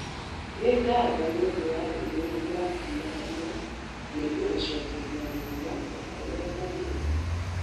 Nĩ ngatho nĩ ũndũ wa ndũmĩrĩri yaku ya ira, na nĩngũgũcokeria o narua o ta ũrĩa kũngĩhoteka.